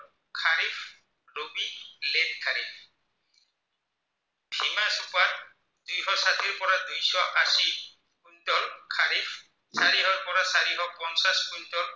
চাৰিশৰ পৰা চাৰিশ পঞ্চাছ কুইন্টল